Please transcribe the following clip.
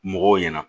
Mɔgɔw ɲɛna